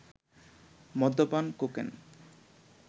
মদ্যপান, কোকেন